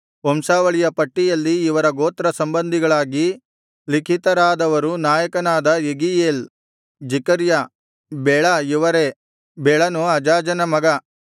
ವಂಶಾವಳಿಯ ಪಟ್ಟಿಯಲ್ಲಿ ಇವನ ಗೋತ್ರ ಸಂಬಂಧಿಗಳಾಗಿ ಲಿಖಿತರಾದವರು ನಾಯಕನಾದ ಯೆಗೀಯೇಲ್ ಜೆಕರ್ಯ ಬೆಳ ಇವರೇ ಬೆಳನು ಅಜಾಜನ ಮಗ